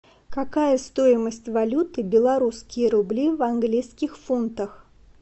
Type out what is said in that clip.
какая стоимость валюты белорусские рубли в английских фунтах